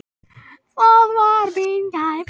Það var mín gæfa.